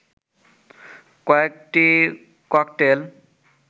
কয়েকটি ককটেল